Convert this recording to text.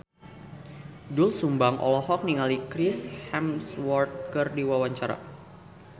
Doel Sumbang olohok ningali Chris Hemsworth keur diwawancara